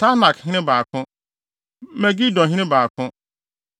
Taanakhene 2 baako 1 Megidohene 2 baako 1